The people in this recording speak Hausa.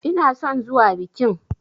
Ina son zuwa bikin.